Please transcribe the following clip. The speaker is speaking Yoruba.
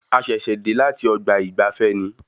A ṣẹ̀ṣẹ̀ dé láti ọgbà ìgbafé ni